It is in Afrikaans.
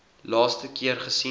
laaste keer gesien